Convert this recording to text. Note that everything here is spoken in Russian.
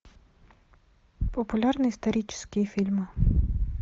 популярные исторические фильмы